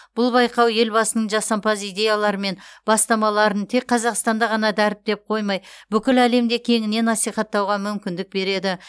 бұл байқау елбасының жасампаз идеялары мен бастамаларын тек қазақстанда ғана дәріптеп қоймай бүкіл әлемде кеңінен насихаттауға мүмкіндік береді